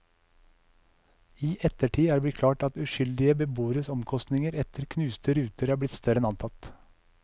I ettertid er det blitt klart at uskyldige beboeres omkostninger etter knuste ruter er blitt større enn antatt.